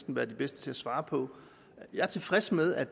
være de bedste til at svare på jeg er tilfreds med at